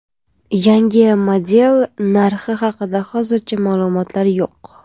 Yangi model narxi haqida hozircha ma’lumotlar yo‘q.